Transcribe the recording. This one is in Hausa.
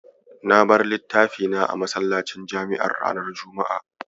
Na bar littafi na a masallacin jami'ar ranar Juma'a.